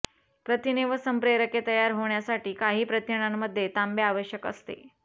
प्रथिने व संप्रेरके तयार होण्यासाठी काही प्रथिनांमध्ये तांबे आवश्यक असते